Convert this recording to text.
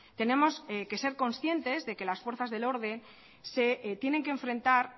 tenemos que ser conscientes de que las fuerzas del orden se tienen que enfrentar